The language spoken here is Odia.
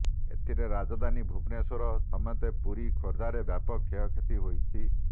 ଏଥିରେ ରାଜଧାନୀ ଭୁବନେଶ୍ବର ସମେତ ପୁରୀ ଖୋର୍ଦ୍ଧାରେ ବ୍ୟାପକ କ୍ଷତି ହୋଇଛି